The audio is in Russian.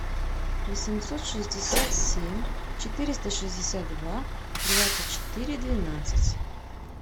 восемьсот шестьдесят семь четыреста шестьдесят два двадцать четыре двенадцать